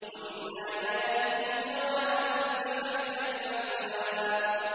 وَمِنْ آيَاتِهِ الْجَوَارِ فِي الْبَحْرِ كَالْأَعْلَامِ